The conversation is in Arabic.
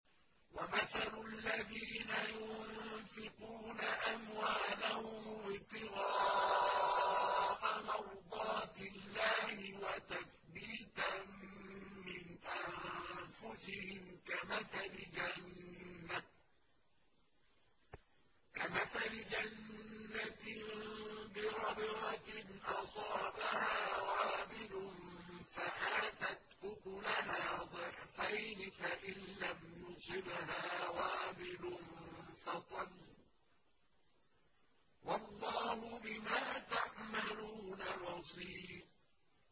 وَمَثَلُ الَّذِينَ يُنفِقُونَ أَمْوَالَهُمُ ابْتِغَاءَ مَرْضَاتِ اللَّهِ وَتَثْبِيتًا مِّنْ أَنفُسِهِمْ كَمَثَلِ جَنَّةٍ بِرَبْوَةٍ أَصَابَهَا وَابِلٌ فَآتَتْ أُكُلَهَا ضِعْفَيْنِ فَإِن لَّمْ يُصِبْهَا وَابِلٌ فَطَلٌّ ۗ وَاللَّهُ بِمَا تَعْمَلُونَ بَصِيرٌ